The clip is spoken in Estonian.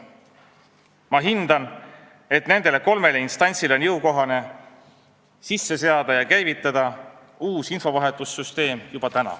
Ma hindan, et nendele kolmele instantsile on juba täna jõukohane sisse seada ja käivitada uus infovahetussüsteem.